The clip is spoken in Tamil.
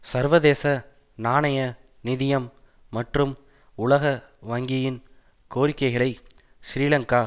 சர்வதேச நாணய நிதியம் மற்றும் உலக வங்கியின் கோரிக்கைகளை இலங்கை